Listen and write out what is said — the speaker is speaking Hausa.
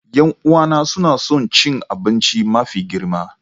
Yan'uwana suna son cin abinci mafi girma.